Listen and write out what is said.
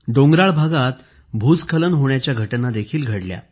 डोंगराळ भागात भूस्खलन होण्याच्या घटना देखील घडल्या